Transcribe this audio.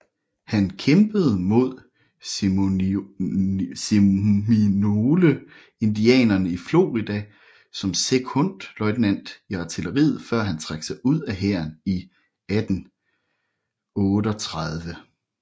Han kæmpede mod Seminole indianerne i Florida som sekondløjtnant i artilleriet før han trak sig ud af hæren i 1838